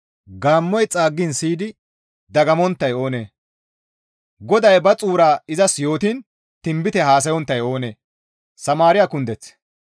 Gaammoy xaaggiin siyidi dagammonttay oonee? GODAY ba xuura izas yootiin tinbite haasayonttay oonee?